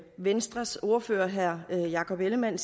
venstres ordfører herre jakob ellemann